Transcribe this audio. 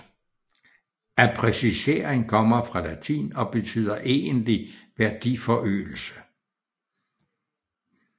Appreciering kommer fra latin og betyder egentlig værdiforøgelse